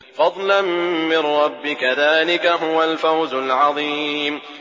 فَضْلًا مِّن رَّبِّكَ ۚ ذَٰلِكَ هُوَ الْفَوْزُ الْعَظِيمُ